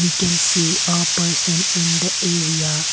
we can see a person in the area.